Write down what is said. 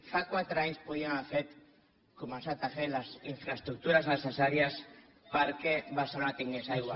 fa quatre anys podíem haver fet començat a fer les infraestructures necessàries perquè barcelona tingués aigua